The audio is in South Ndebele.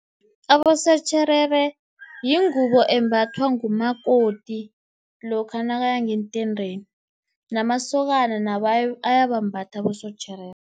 Abosotjherere yingubo embathwa ngumakoti, lokha nakaya ngeentendeni, namasokana nawo ayabambatha abosotjherere.